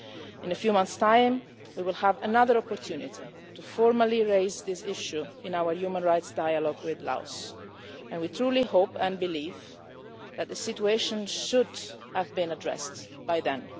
In a few months' time, we will have another opportunity to formally raise this issue in our Human Rights Dialogue with Laos and we truly hope and believe that the situation should have been addressed by then.